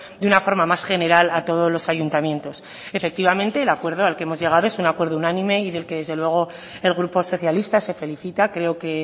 de una forma más general a todos los ayuntamientos efectivamente el acuerdo al que hemos llegado es un acuerdo unánime y del que desde luego el grupo socialista se felicita creo que